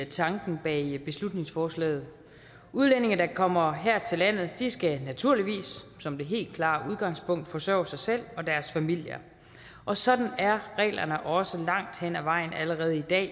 tanken bag beslutningsforslaget udlændinge der kommer her til landet skal naturligvis som det helt klare udgangspunkt forsørge sig selv og deres familier og sådan er reglerne også langt hen ad vejen allerede i dag